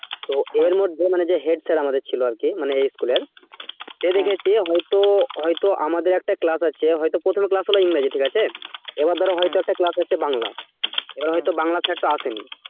তো এর মধ্যে মানে যে head master ছিল আমাদের মানে এই school এর সে দেখেছে হয়তো আমাদের একটা class হয়তো হয়তো আমাদের একটা class প্রথমে class হল ইংরাজী ঠিক আছে এবার ধর এবার হয়তো একটা class আছে বাংলা, এবার হয়তো বাংলার sir টা আসেনি